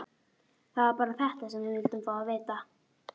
Það var bara þetta sem við vildum fá að vita.